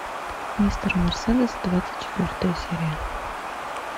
мистер мерседес двадцать четвертая серия